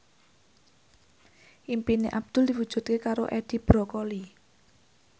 impine Abdul diwujudke karo Edi Brokoli